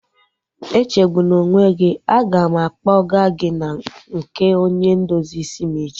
Echegbuna onwe gị, a ga m akpọgaa gị na nke onye ndozi isi m echi